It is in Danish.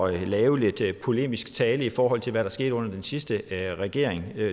at lave lidt polemisk tale i forhold til hvad der skete under den sidste regering